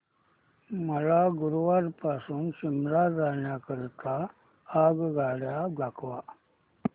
मला गुरगाव पासून शिमला जाण्या करीता आगगाड्या दाखवा